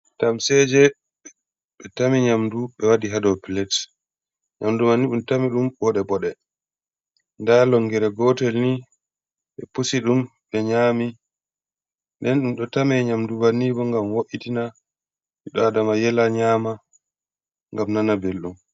Tamseje ɓe ɗo tami nyamdu ɓe waɗi ha dou plate, nyamdu mai ni ɓe ɗo tami ɗum boɗe boɗe, nda longere gotel ni ɓe pusi ɗum ɓe nyami, nden ɗum ɗo tame nyamdu banni bo ngam vo’itina, ɓi adama yela nyama ngam nana belɗum.